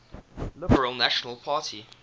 liberal national party